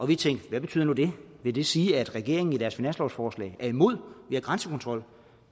vi tænkte hvad betyder nu det vil det sige at regeringen i deres finanslovsforslag er imod mere grænsekontrol